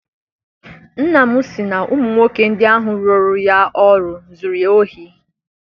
Nna m si na ụmụ nwoke ndị ahụ rụọro ya ọrụ zụrụ ya ohi.